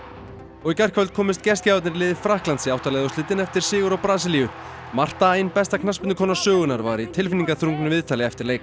og í gærkvöld komust gestgjafarnir í liði Frakklands í átta liða úrslitin eftir sigur á Brasilíu Marta ein besta knattspyrnukona sögunnar var í tilfinningaþrungnu viðtali eftir leik